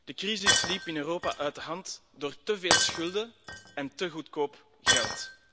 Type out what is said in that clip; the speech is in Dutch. De crisis liep in Europa uit de hand door te veel schulden en te goedkoop geld.